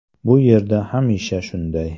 Bu yerda hamisha shunday.